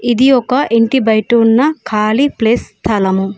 ఇది ఒక ఇంటి బయట ఉన్న ఖాళీ ప్లేస్ స్థలము.